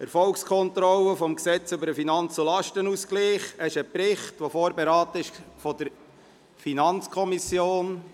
«Erfolgskontrolle des Gesetzes über den Finanz- und Lastenausgleich […]»– es handelt sich um einen Bericht, welcher von der FiKo vorberaten wurde.